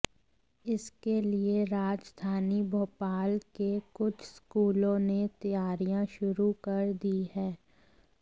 इसके लिए राजधानी भोपाल के कुछ स्कूलों ने तैयारियां शुरू कर दी हैं